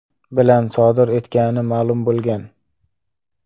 bilan sodir etgani ma’lum bo‘lgan.